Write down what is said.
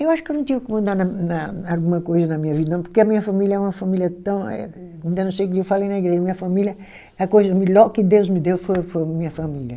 Eu acho que eu não tinha o que mudar na na, alguma coisa na minha vida, não, porque a minha família é uma família tão eh, ainda nesses dias eu falei na igreja, a minha família é a coisa melhor que Deus me deu foi foi minha família.